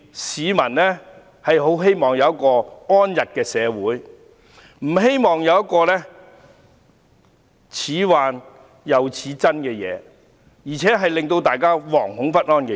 市民很希望有一個安逸的社會，不希望聽到難分真假，更令大家惶恐不安的信息。